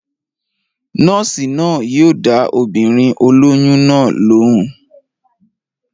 Nọ́ọ̀sì náà yóò dá obìnrin olóyún náà lóun